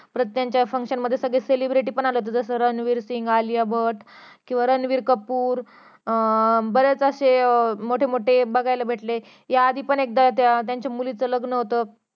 परत त्यांच्या function मध्ये सगळे celebrity पण आले होते जस रणवीर सिंग आलीया भट किंवा रणवीर कपूर अं बरेच असे अं मोठे मोठे बघायला भेटले या आधी पण एकदा त्यांच्या मुलीच लग्न होतं